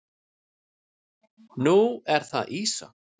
Nú er það ýsa.